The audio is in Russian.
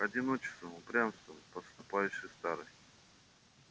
одиночеством упрямством подступающей старостью